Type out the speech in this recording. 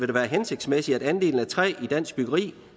det være hensigtsmæssigt at andelen af træ i dansk byggeri